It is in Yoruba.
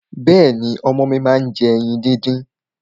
Bẹ́ẹ̀ni, ọmọ mi máa ń jẹ ẹyin díndín.